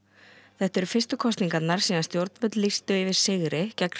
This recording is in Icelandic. þetta eru fyrstu kosningarnar síðan stjórnvöld lýstu yfir sigri gegni